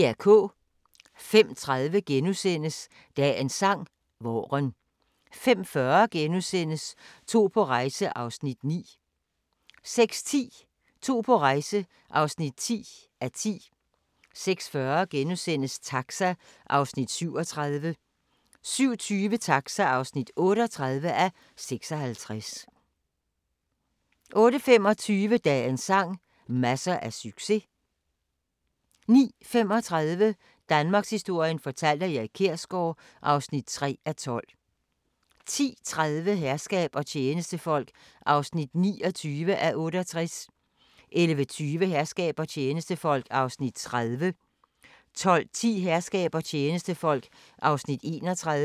05:30: Dagens sang: Vaaren * 05:40: To på rejse (9:10)* 06:10: To på rejse (10:10) 06:40: Taxa (37:56)* 07:20: Taxa (38:56) 08:25: Dagens sang: Masser af succes 09:35: Danmarkshistorien fortalt af Erik Kjersgaard (3:12) 10:30: Herskab og tjenestefolk (29:68) 11:20: Herskab og tjenestefolk (30:68) 12:10: Herskab og tjenestefolk (31:68)